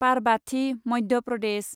Parbati, Madhya Pradesh